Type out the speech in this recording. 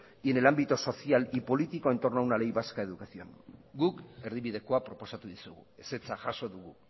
y en el ámbito social y político entorno a una ley vasca de educación guk erdibidekoa proposatu dizugu ezetza jaso dugu